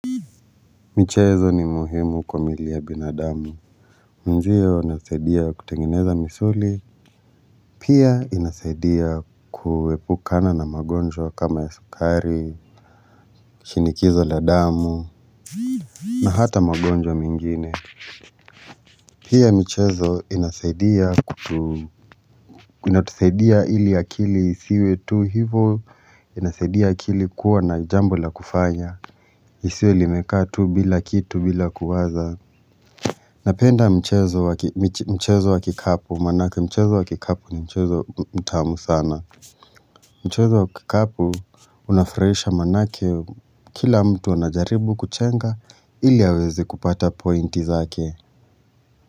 Michezo ni muhimu kwa mili ya binadamu. Mwenzio ninasaidia kutengeneza misuli. Pia inasaidia kuepukana na magonjwa kama ya sukari, shinikizo la damu, na hata magonjwa mengine. Pia michezo inasaidia kutu, inatusaidia ili akili isiwe tu hivo, inasaidia akili kuwa na jambo la kufanya. Isiwe imekaa tu bila kitu bila kuwaza. Napenda mchezo wa kikapu manake mchezo wa kikapu ni mchezo mtamu sana Mchezo wa kikapu unafurahisha manake kila mtu anajaribu kuchenga ili awezi kupata pointi zake.